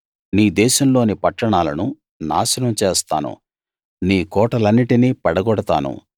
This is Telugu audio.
నీ దేశంలోని పట్టణాలను నాశనం చేస్తాను నీ కోటలన్నిటినీ పడగొడతాను